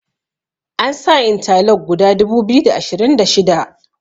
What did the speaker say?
an sa inta lok guda dubu biyu da ashirin da shida